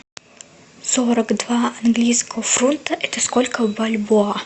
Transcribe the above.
сорок два английских фунта это сколько в бальбоа